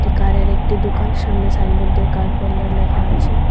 কারের একটি দুকান সামনে সাইনবোর্ড দিয়ে কার পার্লার লেখা আছে।